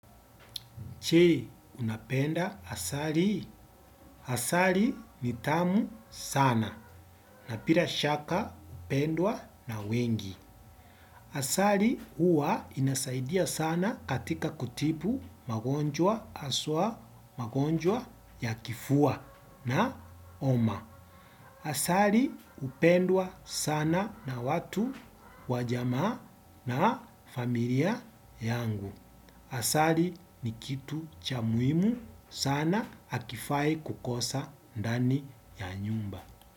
Je, unapenda asali. Asali ni tamu sana. Na bila shaka hupendwa na wengi. Asali huwa inasaidia sana katika kutibu magonjwa haswa magonjwa ya kifua na homa. Asali hupendwa sana na watu wa jamaa na familia yangu. Asali ni kitu cha muhimu sana hakifai kukosa ndani ya nyumba.